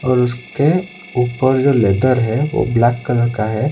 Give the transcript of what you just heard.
और उसके ऊपर जो लेदर है वो ब्लैक कलर का है।